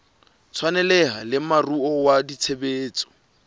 tshwaneleha le moruo wa tshebetso